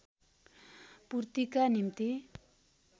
पूर्तिका निम्ति